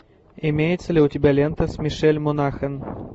имеется ли у тебя лента с мишель монахэн